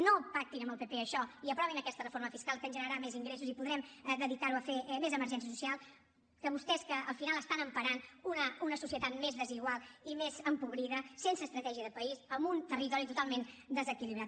no pactin amb el pp això i aprovin aquesta reforma fiscal que ens generarà més ingressos i podrem dedicar ho a fer més emergència social que vostès que al final estan emparant una societat més desigual i més empobrida sense estratègia de país amb un territori totalment desequilibrat